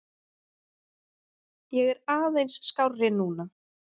Ég er aðeins skárri núna.